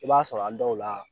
I b'a sɔrɔ a dɔw la.